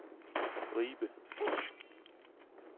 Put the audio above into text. Ribe